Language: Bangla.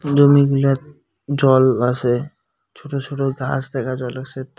জমিগুলাত জল আসে ছোট ছোট গাস দেখা জলসিদ --